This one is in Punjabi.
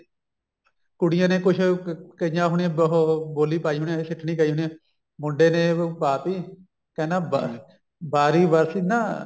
ਕੁੜੀਆਂ ਨੇ ਕੁੱਛ ਕਈਆਂ ਹੋਣੀਆ ਉਹ ਬੋਲੀ ਪਾਈ ਹੋਣੀ ਐ ਸਿੱਠਨੀ ਗਾਈ ਹੋਣੀ ਮੁੰਡੇ ਨੇ ਆਪ ਹੀ ਕਹਿੰਦਾ ਬਾਰੀ ਬਰਸੀ ਨਾ